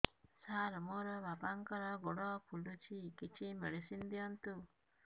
ସାର ମୋର ବାପାଙ୍କର ଗୋଡ ଫୁଲୁଛି କିଛି ମେଡିସିନ ଦିଅନ୍ତୁ